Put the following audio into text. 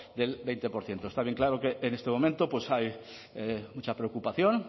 del veinte por ciento está bien claro que en este momento pues hay mucha preocupación